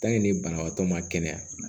ni banabaatɔ ma kɛnɛya